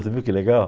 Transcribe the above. Você viu que legal?